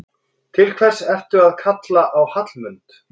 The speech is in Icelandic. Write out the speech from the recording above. Til hvers ertu að kalla á Hallmund?